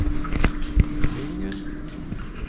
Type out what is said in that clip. Lyngen